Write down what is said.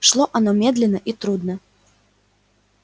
шло оно медленно и трудно